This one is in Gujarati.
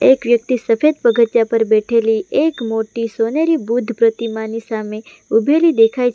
એક વ્યક્તિ સફેદ પગથીયા પર બેઠેલી એક મોટી સોનેરી બુદ્ધ પ્રતિમાની સામે ઊભેલી દેખાય છે.